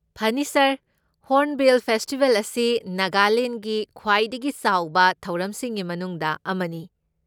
ꯐꯅꯤ, sir! Hornbill festival ꯑꯁꯤ ꯅꯥꯒꯥꯂꯦꯟꯒꯤ ꯈ꯭ꯋꯥꯏꯗꯒꯤ ꯆꯥꯎꯕ ꯊꯧꯔꯝꯁꯤꯡꯒꯤ ꯃꯅꯨꯡꯗ ꯑꯃꯅꯤ꯫